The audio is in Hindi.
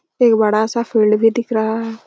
एक बड़ा-सा फील्ड भी दिख रहा है।